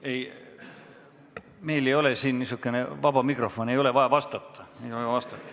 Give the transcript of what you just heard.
Ei, meil ei ole siin vaba mikrofon, ei ole vaja vastata.